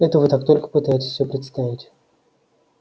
это вы так только пытаетесь всё представить